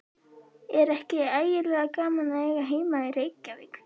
Er ekki ægilega gaman að eiga heima í Reykjavík?